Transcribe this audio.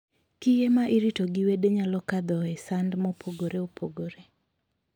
Kiye ma irito gi wede nyalo kadhoe sand mopogore